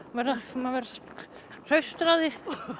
maður verður hraustur af því